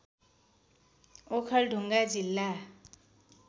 ओखलढुङ्गा जिल्ला